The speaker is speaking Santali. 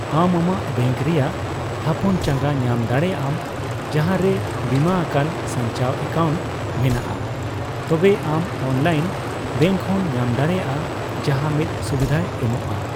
ᱟᱢ ᱟᱢᱟᱜ ᱵᱮᱝᱠ ᱨᱮᱭᱟᱜ ᱛᱷᱟᱯᱚᱱ ᱪᱟᱜᱟᱸ ᱧᱟᱢ ᱫᱟᱲᱮᱭᱟᱜᱼᱟᱢ ᱡᱟᱦᱟᱸ ᱨᱮ ᱵᱤᱢᱟᱟᱠᱟᱱ ᱥᱟᱧᱪᱟᱣ ᱮᱠᱟᱣᱱᱴ ᱢᱮᱱᱟᱜᱼᱟ, ᱛᱚᱵᱮ ᱟᱢ ᱚᱱᱞᱟᱭᱤᱱ ᱵᱮᱝᱠ ᱦᱚᱸᱢ ᱧᱟᱢ ᱫᱟᱲᱮᱭᱟᱜᱼᱟ ᱡᱟᱦᱟᱸ ᱢᱤᱫ ᱥᱩᱵᱤᱫᱷᱟᱭ ᱮᱢᱚᱜᱼᱟ ᱾